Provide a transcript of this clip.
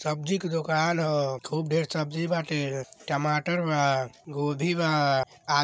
सब्जी के दुकान ह। खूब ढेर सब्जी बाटे। टमाटर बा गोभी बा आ --